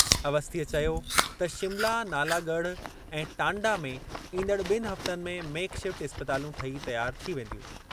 अवस्थीअ चयो त शिमला नालागढ़ ऐं टांडा में ईंदड़ बि॒नि हफ़्तनि में मेक-शिफ़्ट इस्पतालूं ठही तयार थी वेंदियूं।